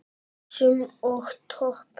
Buxum og topp?